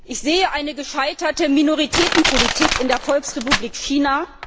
Ich sehe eine gescheiterte Minoritätenpolitik in der Volksrepublik China.